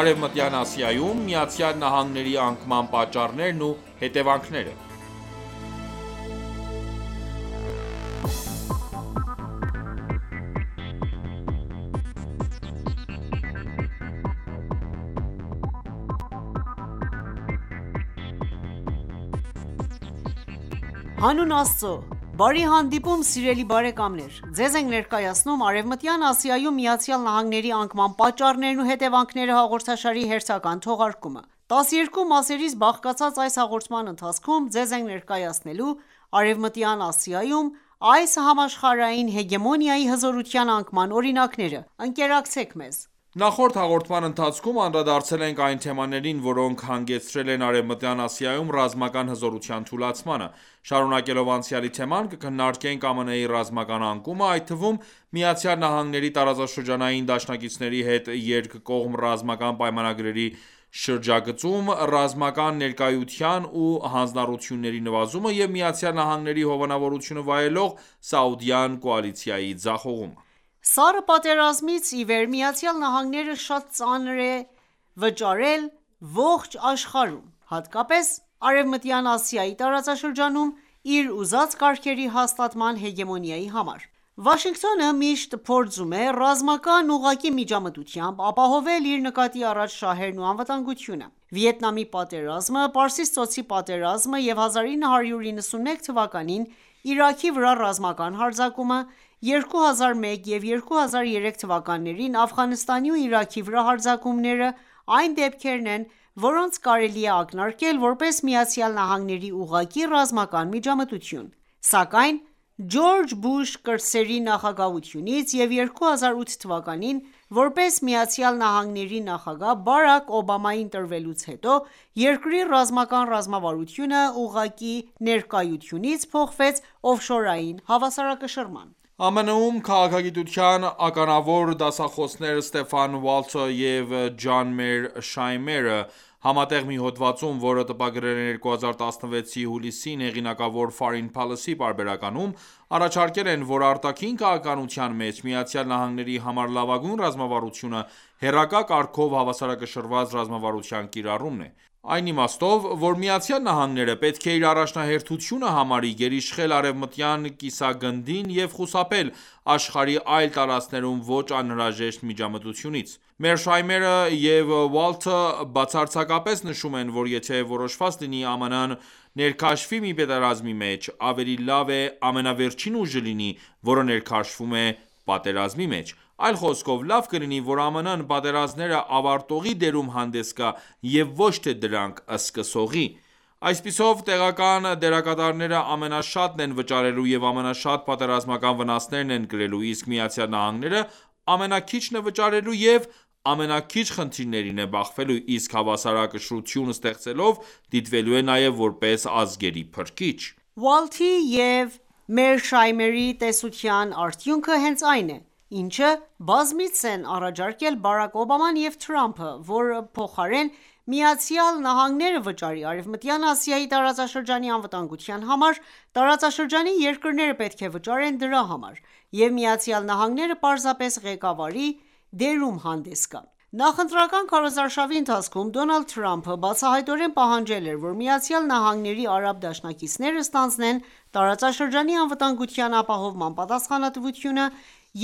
Արևմտյան Ասիայում ԱՄՆ-ի անկման պատճառներն ու հետևանքները Հանուն Աստծու ,բարի հանդիպում սիրելի բարեկամներ: Ձեզ ենք ներկայացնում «Արևմտյան Ասիայում ԱՄՆ-ի անկման պատճառներն ու հետևանքները»հաղորդաշարի հերթական թողարկումը: 12 մասից բաղկացած այս հաղորդման ընթացքում ձեզ ենք ներկայացնելու Արևմտյան Ասիայում այս համաշխարհային հեգեմոնիայի հզորության անկման օրինակները: Ընկերակցեք մեզ։ Նախորդ հաղորդման ընթացքում անդրադարձել ենք այն թեմաներին, որոնք հանգեցրել են Արևմտյան Ասիայում, ռազմական հզորության թուլացմանը: Շարունաելով անցյալի թեման կքննարկենք ԱՄՆ-ի ռազմական անկումը, այդ թվում Միացյալ նահանգների տարածաշրջանային դաշնակիցների հետ երկկողմ ռազմական պայմանագրերի շրջագծում ռազմական ներկայության ու հանձնառությունների նվազումը և ԱՄՆ-ի հովանավորությունը վայելող Սաուդյան կուալիցիայի ձախողումը: Սառը պատերազմից ի վեր Միացյալ Նահանգները շատ ծանր է վճարել ողջ աշխարհում, հատկապես Արևմտյան Ասիայի տարածաշրջանում իր ուզած կարգերի հաստատման հեգեմոնիայի համար: Վաշինգտոնը միշտ փորձում է ռազմական ուղղակի միջամտությամբ ապահովել իր նկատի առած շահերն ու անվտանգությունը: Վիետնամի պատերազմը, Պարսից ծոցի պատերազմը և 1991 թվականին Իրաքի վրա ռազմական հարձակումը ,2001 և 2003 թվականներին Աֆղանստանի ու Իրաքի վրա հարձակումները այն դեպքերն են ,որոնց կարելի է ակնարկել որպես ԱՄՆ-ի ուղղակի ռազմական միջամտություն: Ասկայն, Ջորջ Բուշ կրտսերի նախագահությունից և 2008 թվականին ,որպես Միացյալ նահանգների նախագահ Բարաք Օբամայի ընտրվելուց հետո, երկրի ռազմական ռազմավարությունը ուղղակի ներկայությունից փոխվեց օֆշորային հավասարակշռման: ԱՄՆ-ում- քաղաքագիտության ականավոր դասախոսներ Ստեֆան Վալթը և Ջան Մեր Շայմերը ,համատեղ մի հոդվածում ,որը տպագրել են 2016-ի հուլիսին հեղինակավոր Foreign Policy պարբերականում ,առաջարկել են ,որ.«Արտաքին քաղաքականության մեջ ԱՄՆ-ի համար լավագույն ռազմավարությունը ՝հեռակա կարգով հավասարակշռված ռազմավարության կիրառումն է: Այն իմաստով, որ Միացյալ նահանգները պետք է իր առաջնահերթությունը համարի գերիշխել արևմտյան կիսագնդին և խուսափել աշխարհի այլ տարածքներում ոչ անհրաժեշտ միջամտությունից: Մերշայմերը և Վալթը բացարձակապես նշում են ,որ եթե որոշված լինի ԱՄՆ-ը ներքաշվի մի պատերազմի մեջ ,ավելի լավ է ամենավերջին ուժը լինի ,որը ներքաշվում է պատերազմի մեջ: Այլ խոսքով ,լավ կլինի որ ԱՄՆ-ն պատերազմները ավարտողի դերում հանդես գա և ոչ թե դրանք սկսողի: Այսպիսով տեղական դերակատարները ամենաշատն են վճարելու և ամենաշատ պատերազմական վնասներն են կրելու, իսկ ԱՄՆ-ը ամենաքիչն է վճարելու և ամենաքիչ խնդիրներին է բախվելու: Իսկ հավասարակշռություն ստեղծելով դիտվելու է նաև ,որպես ազգերի փրկիչ»: Վալթի և Մերշայմերի տեսության արդյունքը հենց այն է, ինչը բազմիցս են առաջարկել Բարաք Օբաման և Թրամփը, որ փոխարեն ԱՄՆ-ը վճարի Արևմտյան Ասիայի տարածաշրջանի անվտանգության համար, տարածաշրջանի երկրները պետք է վճարեն դրա համար, և Միացյալ Նահանգները պարզապես ղեկավարի դերում հանդես գա: Նախընտրական քարոզարշավի ընթացքում Դոնալդ Թրամփը բացահայտորեն պահանջել էր, որ ԱՄՆ-ի արաբ դաշնակիցները ստանձնեն տարածաշրջանի անվտանգության ապահովման պատասխանատվությունը